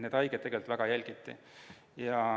Neid haigeid jälgiti väga hoolega.